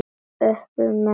Öpum í menn.